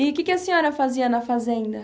E o que que a senhora fazia na fazenda?